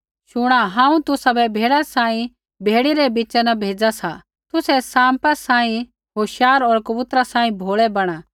शुणा हांऊँ तुसाबै भेड़ा सांही भेड़ियै रै बिच़ा न भेज़ा सा तुसै साँपा कीड़ै सांही होशियार होर कबूतरा सांही भोलै बैणा